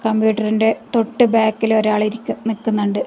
കമ്പ്യൂട്ടറിന്റെ തൊട്ടു ബാക്കിൽ ഒരാൾ ഇരിക്കു നിൽക്കുന്നുണ്ട്.